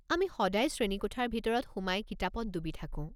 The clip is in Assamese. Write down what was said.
আমি সদায় শ্ৰেণীকোঠাৰ ভিতৰত সোমাই কিতাপত ডুবি থাকোঁ।